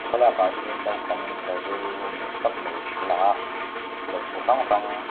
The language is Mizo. thlalak ah hian naupang library room ni awm tak mai a lang a lehkhabu hrang hrang--